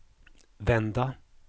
vända